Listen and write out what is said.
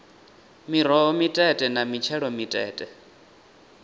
miroho mitete na mitshelo mitete